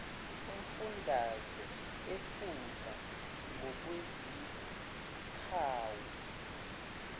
umfundaze efunda ngokwezikhawu